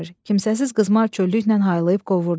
Kimsəsiz qızmar çöllüklə haylayıb qovurdu.